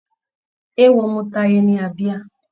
Eéwo mú Táyé ní abíyá.